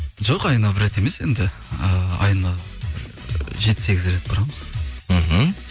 жоқ айына бір рет емес енді ыыы айына жеті сегіз рет барамыз мхм